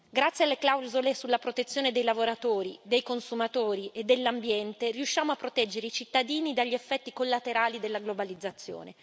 Grazie alle clausole sulla protezione dei lavoratori, dei consumatori e dell'ambiente, riusciamo a proteggere i cittadini dagli effetti collaterali della globalizzazione.